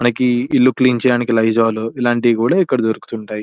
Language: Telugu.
మనకి ఇల్లు క్లీన్ చేయడానికి లైజాల్ ఇలాంటివి కూడా ఇక్కడ దొరుకుతుంటాయి .